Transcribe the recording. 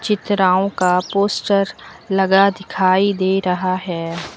चित्राओं का पोस्टर लगा दिखाई दे रहा है।